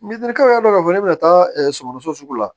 ka y'a dɔn k'a fɔ ne bɛ taa sɔminso sugu la